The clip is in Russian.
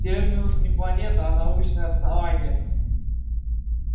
терминус не планета а научное основание